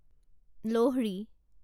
লহৰি